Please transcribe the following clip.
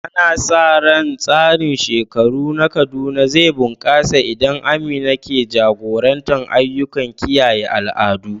Ana sa ran tsarin shekaru na Kaduna zai bunƙasa, inda Amina ke jagorantar ayyukan kiyaye al'adu.